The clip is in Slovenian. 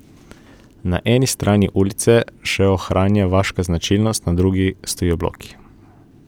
Na eni strani ulica še ohranja vaške značilnost, na drugi stojijo bloki.